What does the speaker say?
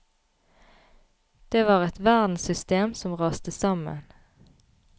Det var et verdenssystem som raste sammen.